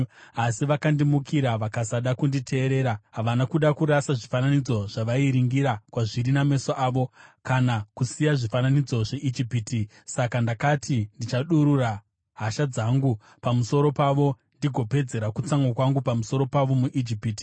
“ ‘Asi vakandimukira vakasada kunditeerera; havana kuda kurasa zvifananidzo zvavairingira kwazviri nameso avo, kana kusiya zvifananidzo zveIjipiti. Saka ndakati ndichadurura hasha dzangu pamusoro pavo ndigopedzera kutsamwa kwangu pamusoro pavo muIjipiti.